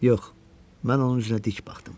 Yox, mən onun üzünə dik baxdım.